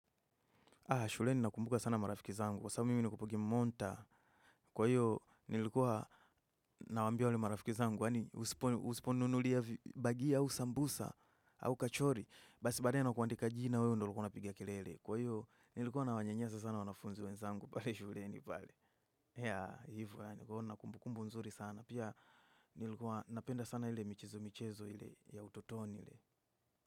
Shuleni nakumbuka sana marafiki zangu. Kwa sababu mimi nimekuwa kimonta. Kwa hiyo nilikuwa nawaambia wale marafiki zangu. Wani usipo usipo ninunulia vibagia, au sambusa, au kachori. Basi baadaye nakuandika jina wewe ndo ulikuwa unapiga kilele. Kwa hio nilikuwa na wanyasa sana wanafunzi wezangu pale shuleni pale. Yea, hivo yaani kuona kumbukumbu nzuri sana. Pia nilikuwa napenda sana ile michizo-michezo ile ya utotoni ile.